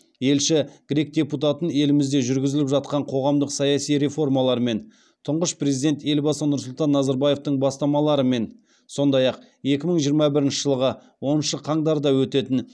елші грек депутатын елімізде жүргізіліп жатқан қоғамдық саяси реформалармен тұңғыш президент елбасы нұрсұлтан назарбаевтың бастамаларымен сондай ақ екі мың жиырма бірінші жылғы оныншы қаңтарда өтетін